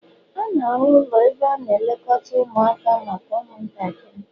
A na-arụ ụlọ ebe a na-elekọta ụmụaka maka ụmụntakịrị